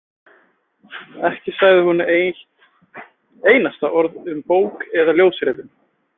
Ekki sagði hún eitt einasta orð um bók eða ljósritun.